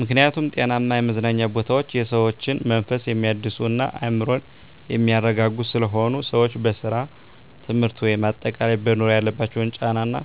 ምክኒያቱም ጤናማ የመዝናኛ ቦታወች የሰዎችን መንፈስ የሚያድሱ እና አዕምሮን የሚያረጋጉ ስለሆኑ። ሰወች በስራ፣ ትምህርት ወይም አጠቃላይ በኑሮ ያለባቸውን ጫና እና